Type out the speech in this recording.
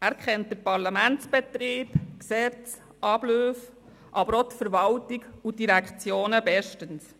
Er kennt den Parlamentsbetrieb, er kennt Gesetze, Abläufe, aber auch die Verwaltung und die Direktionen bestens.